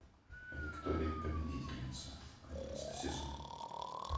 виктория победительница одиннадцатый сезон